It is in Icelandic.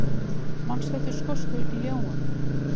Manstu eftir skosku ljáunum?